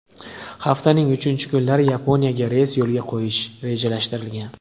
Haftaning uchinchi kunlari Yaponiyaga reys yo‘lga qo‘yish rejalashtirilgan.